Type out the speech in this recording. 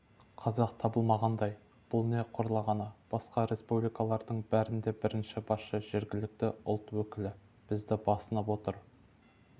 қазақ табылмағандай бұл не қорлағаны басқа республикалардың бәрінде бірінші басшы жергілікті ұлт өкілі бізді басынып отыр